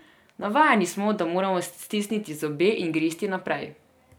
Navajeni smo, da moramo stisniti zobe in gristi naprej.